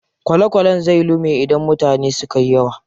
Kwale kwalen zai lume idan mutane sukayi yawa.